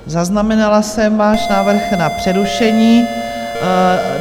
Zaznamenala jsem váš návrh na přerušení.